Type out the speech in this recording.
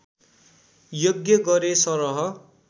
यज्ञ गरे सरह